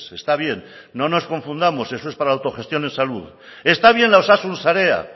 está bien no nos confundamos eso es para autogestión en salud está bien la osasun sarea